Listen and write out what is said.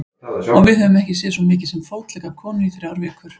Og við höfum ekki séð svo mikið sem fótlegg af konu í þrjár vikur.